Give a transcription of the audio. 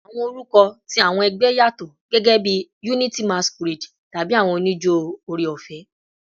Awọn orukọ ti awọn ẹgbẹ yatọ, gẹgẹbi "Unity Masquerade" tabi "Awọn onijo Ore-ọfẹ."